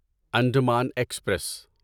Andaman express